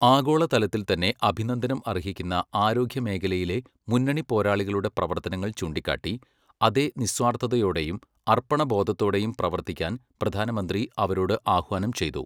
ആഗോളതലത്തിൽത്തന്നെ അഭിനന്ദനം അർഹിക്കുന്ന ആരോഗ്യമേഖലയിലെ മുന്നണിപ്പോരാളികളുടെ പ്രവർത്തനങ്ങൾ ചൂണ്ടിക്കാട്ടി, അതേ നിസ്വാർഥതയോടെയും അർപ്പണബോധത്തോടെയും പ്രവർത്തിക്കാൻ പ്രധാനമന്ത്രി അവരോട് ആഹ്വാനം ചെയ്തു.